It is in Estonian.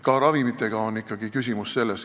Ka ravimitega on ikkagi küsimus selles.